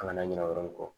A kana ɲina o yɔrɔ in kɔ